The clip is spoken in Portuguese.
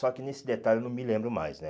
Só que nesse detalhe eu não me lembro mais, né?